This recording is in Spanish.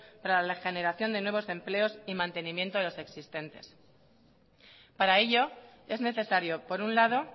para la generación de nuevos empleos y mantenimiento de los existentes para ello es necesario por un lado